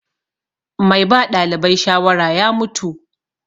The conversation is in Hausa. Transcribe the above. Mai ba ɗalibai shawara ya mutu.